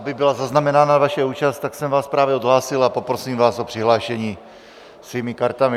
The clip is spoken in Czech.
Aby byla zaznamenána vaše účast, tak jsem vás právě odhlásil a poprosím vás o přihlášení svými kartami.